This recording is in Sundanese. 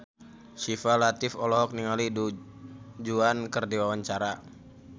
Syifa Latief olohok ningali Du Juan keur diwawancara